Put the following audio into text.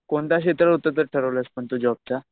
कोणत्या क्षेत्रात उतरायचं ठरवलंय पण तू जॉबच्या?